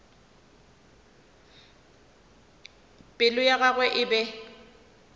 pelo ya gagwe e be